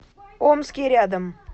омский рядом